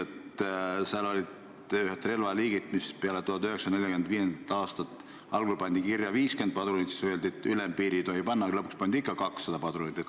Eelnõus olid ühed relvaliigid, mida hakati tootma peale 1945. aastat ja mille padrunite piirarvuks pandi algul kirja 50, siis öeldi, et ülempiiri panna ei tohi, aga lõpuks määrati selleks ikkagi 200 padrunit.